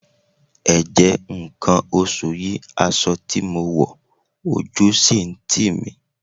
Ẹ̀jẹ̀ nǹkan oṣù yí aṣọ tí mo wọ̀ ojú sì ń tì mí.